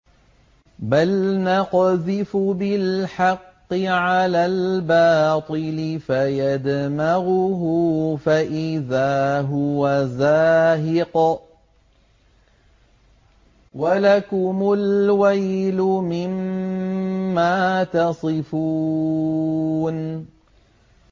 بَلْ نَقْذِفُ بِالْحَقِّ عَلَى الْبَاطِلِ فَيَدْمَغُهُ فَإِذَا هُوَ زَاهِقٌ ۚ وَلَكُمُ الْوَيْلُ مِمَّا تَصِفُونَ